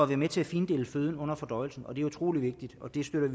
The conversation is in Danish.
være med til at findele føden under fordøjelsen og det er utrolig vigtigt og vi støtter